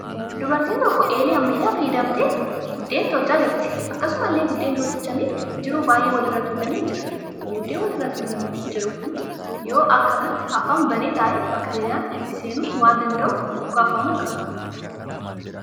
Dubartiin tokko eelee ammayyaa fayyadamtee buddeena tolchaa jirti. Akkasumallee buddeenni tolchamee jiru baay'een walirra tuulamee jira. Buddeena wal irra tuulamee jiru kun yoo akka kanatti afaan banee taa'e baakteeriyaan itti seenuu waan danda'uuf ukkaanfamuu qaba.